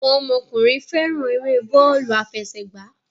Àwọn ọmọkùnrin fẹ́ràn eré bọ́ọ́lù-afẹsẹ̀gbá.